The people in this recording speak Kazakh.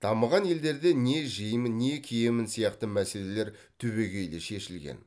дамыған елдерде не жеймін не киемін сияқты мәселелер түбегейлі шешілген